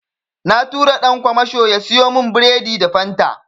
Na tura ɗan kwamasho ya siyo min biredi da Fanta.